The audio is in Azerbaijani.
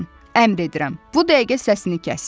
Əmr edirəm, bu dəqiqə səsini kəs.